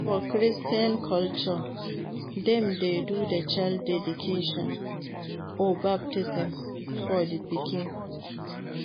For christian culture dem de do child dedication or baptism for di pikin